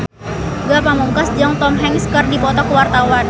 Ge Pamungkas jeung Tom Hanks keur dipoto ku wartawan